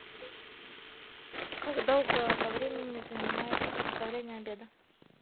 как долго по времени занимает приготовление обеда